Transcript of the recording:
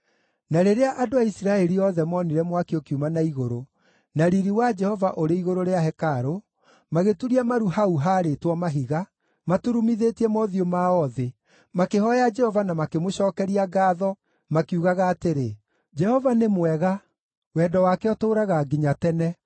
Na rĩrĩa andũ a Isiraeli othe moonire mwaki ũkiuma na igũrũ, na riiri wa Jehova ũrĩ igũrũ rĩa hekarũ, magĩturia maru hau haarĩtwo mahiga, maturumithĩtie mothiũ mao thĩ, makĩhooya Jehova na makĩmũcookeria ngaatho, makiugaga atĩrĩ, “Jehova nĩ mwega; wendo wake ũtũũraga nginya tene.”